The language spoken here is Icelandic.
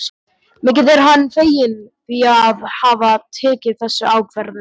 Mikið er hann feginn því að hafa tekið þessa ákvörðun.